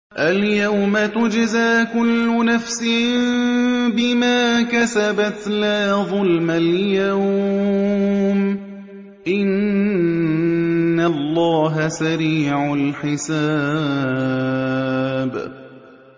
الْيَوْمَ تُجْزَىٰ كُلُّ نَفْسٍ بِمَا كَسَبَتْ ۚ لَا ظُلْمَ الْيَوْمَ ۚ إِنَّ اللَّهَ سَرِيعُ الْحِسَابِ